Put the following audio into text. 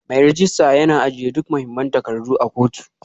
Mai rejista yana ajiye duk mahimman takardu a kotu